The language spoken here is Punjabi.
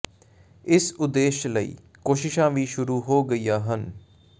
ਇਸ ਉਦੇਸ਼ ਲਈ ਕੋਸ਼ਿਸ਼ਾਂ ਵੀ ਸ਼ੁਰੂ ਹੋ ਗਈਆਂ ਹਨ